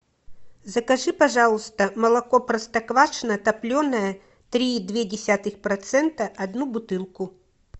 закажи пожалуйста молоко простоквашино топленое три и две десятых процента одну бутылку